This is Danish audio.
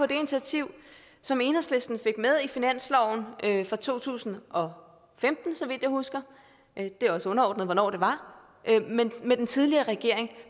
det initiativ som enhedslisten fik med i finansloven for to tusind og femten så vidt jeg husker det er også underordnet hvornår det var med den tidligere regering